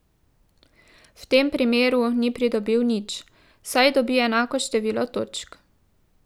V tem primeru ni pridobil nič, saj dobi enako število točk.